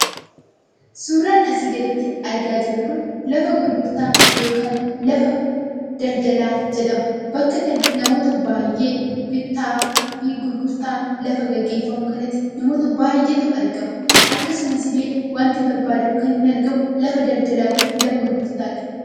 Suuraan asii gaditti argaa jirru Kun, lafa gurgurtaa yookaan lafa daldalaa jedhama. Bakka kana namoota baayyee bittaa fi gurgurtaa namoota lafaa gaggeeffamu kana namoota baayyeetu argama. Akkasumas illee waanti barbaadamu kan inni argamu lafa daldalaa fi gurgurtaadha.